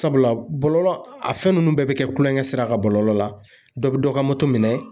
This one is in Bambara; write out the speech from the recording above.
Sabula bɔlɔlɔ, a fɛn ninnu bɛɛ bɛ kɛ kulonkɛ sira kan bɔlɔlɔ la, dɔ bɛ dɔ ka moto minɛ